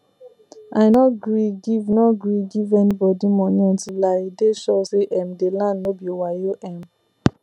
i nor gree give nor gree give any bodi moni unti i dey sure say um the land no be wayo um